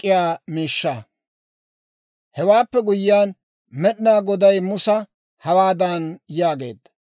Hewaappe guyyiyaan Med'inaa goday Musa hawaadan yaageedda;